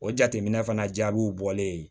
O jateminɛ fana jaabiw bɔlen